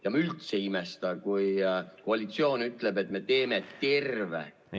Ja ma üldse ei imesta, kui koalitsioon ütleb, et me teeme veel terve juunikuu kaugistungeid.